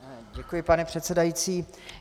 Děkuji, pane předsedající.